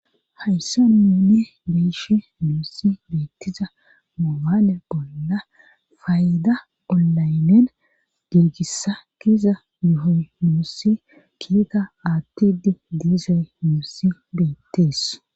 Hayssa nuune beeshe nuussi beettiza moaale bolla fayida ollaynen diirgissa kiza muhoy nuussi kiiga aattidi diisay nuussi beettees.